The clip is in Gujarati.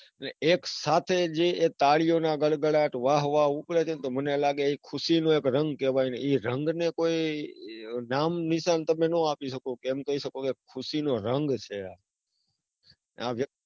એટલે એકસાથે જે તાળીઓના ગડગડાટ વાહ વાહ ઉપડે છે. તો મને લાગે કે ખુશીનો એક રંગ કહેવાય, એ રંગ ને કઈ નામનિશાન તમે નો આપી શકો. એમ કઈ શકો કે ખુશીનો રંગ છે.